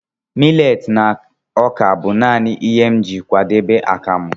Millet na ọka bụ naanị ihe m ji akwadebe akamu.